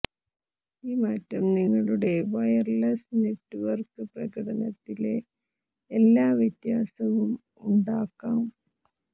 ഈ മാറ്റം നിങ്ങളുടെ വയർലെസ് നെറ്റ്വർക്ക് പ്രകടനത്തിലെ എല്ലാ വ്യത്യാസവും ഉണ്ടാക്കാം